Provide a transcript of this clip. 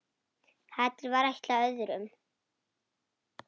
Hatrið var ætlað öðrum.